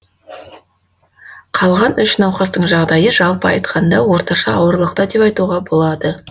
қалған үш науқастың жағдайы жалпы айтқанда орташа ауырлықта деп айтуға болады